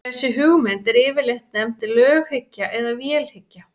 þessi hugmynd er yfirleitt nefnd löghyggja eða vélhyggja